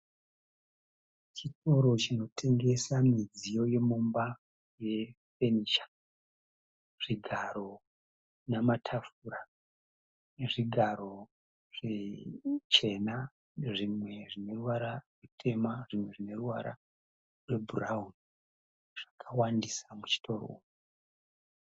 Chitoro chinotengesa midziyo yemumba ye fenicha, zvigaro namatafura nezvigaro zvichena zvimwe zvine ruwara rutema zvimwe zvine ruwara rwe bhurauni. Zvakawandisa muchitoro umu.